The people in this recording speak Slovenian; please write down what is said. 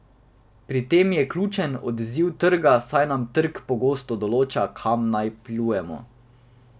Pri tem je ključen odziv trga, saj nam trg pogosto določa, kam naj plujemo.